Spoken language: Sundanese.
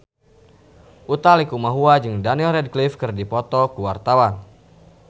Utha Likumahua jeung Daniel Radcliffe keur dipoto ku wartawan